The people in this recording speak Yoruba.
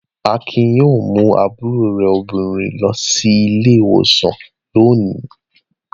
Akin yóò mú àbúrò rẹ̀ obìnrin lọ sí ilé-ìwòsàn lónìí.